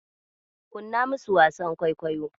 Kunna musu wasan kwaikwayon.